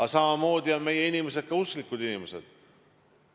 Aga samamoodi on meie inimesed ka usklikud inimesed.